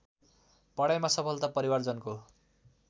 पढाइमा सफलता परिवारजनको